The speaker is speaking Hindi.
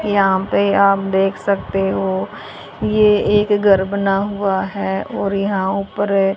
यहां पे आप देख सकते हो ये एक घर बना हुआ है और यहां उपर--